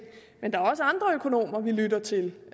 men der er også andre økonomer vi lytter til